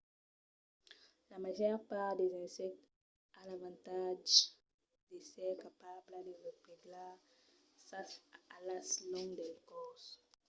la màger part dels insèctes a l'avantatge d'èsser capabla de replegar sas alas long del còrs